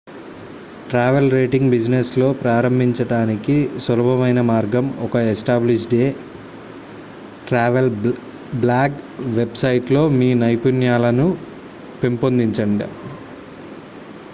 travel writing business లో ప్రారంభించడానికి సులభమైన మార్గం ఒక established travel blog website లో మీ నైపుణ్యాలను పెంపొందించడం